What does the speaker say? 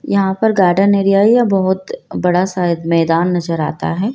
यहां पर garden area है या बहुत बड़ा शायद मैदान नजर आता है।